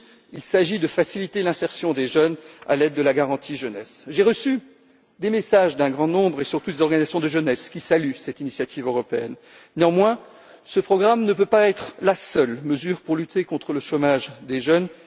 Il s'agit aussi de faciliter l'insertion des jeunes à l'aide de la Garantie jeunesse. J'ai reçu des messages d'un grand nombre de personnes, et surtout des organisations de jeunesse, qui saluent cette initiative européenne. Néanmoins, ce programme ne peut pas être la seule mesure pour lutter contre le chômage des jeunes.